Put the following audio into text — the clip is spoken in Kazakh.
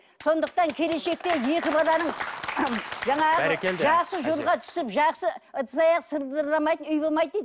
сондықтан келешекте екі баланың жаңағы жақсы жолға түсіп жақсы ыдыс аяқ сылдырламайды үй болмайды дейді